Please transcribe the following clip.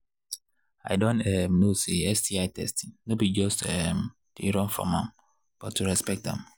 i don um know say sti testing no be to just um they run from am but to respect am